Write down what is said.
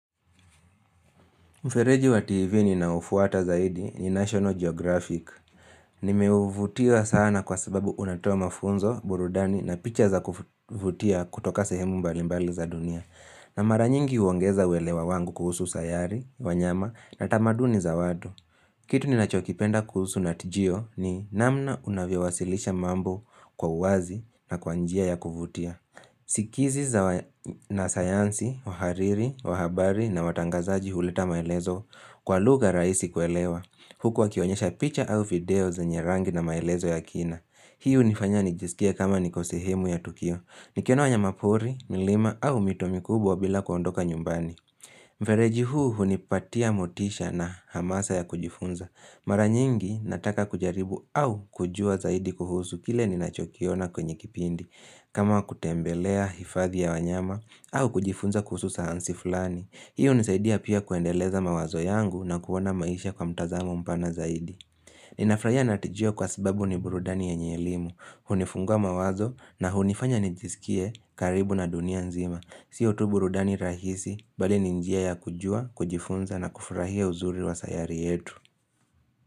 Mfereji wa TV ninao ufuata zaidi ni National Geographic Nimeuvutiwa sana kwa sababu unatoa mafunzo, burudani na picha za kuvutia kutoka sehemu mbalimbali za dunia na mara nyingi huongeza uelewa wangu kuhusu sayari, wanyama na tamaduni za wadu Kitu ni nachokipenda kuhusu nat geo ni namna unavyowasilisha mambo kwa uwazi na kwa njia ya kuvutia Sikizi za wanasayansi, wahariri, wahabari na watangazaji huleta maelezo kwa lugha rahisi kuelewa huku wakionyesha picha au video zenye rangi na maelezo ya kina hii hunifanya nijiskie kama niko sehemu ya tukio nikiona wanyamapori, milima au mito mikubwa bila kuondoka nyumbani Mfereji huu hunipatia motisha na hamasa ya kujifunza mara nyingi nataka kujaribu au kujua zaidi kuhuzu kile ninachokiona kwenye kipindi kama kutembelea hifadhi ya wanyama au kujifunza kuhusu sayansi fulani, hiyo hunisaidia pia kuendeleza mawazo yangu na kuona maisha kwa mtazamo mpana zaidi. Ninafurahia nat geo kwa sababu ni burudani yanye elimu, hunifungua mawazo na hunifanya nijisikie karibu na dunia nzima. Sio tu burudani rahisi, bali ni njia ya kujua, kujifunza na kufurahia uzuri wa sayari yetu.